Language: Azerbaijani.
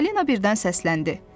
Falina birdən səsləndi.